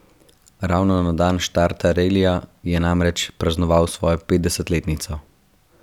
Ravno na dan štarta relija je namreč praznoval svojo petdesetletnico.